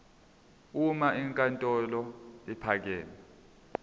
uma inkantolo ephakeme